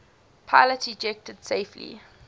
pilots ejected safely